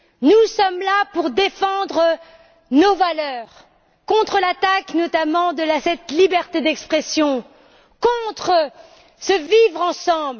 Nous sommes là pour défendre nos valeurs contre l'attaque menée notamment contre cette liberté d'expression, contre ce vivre ensemble.